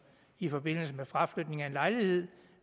i forbindelse med fraflytning af en lejlighed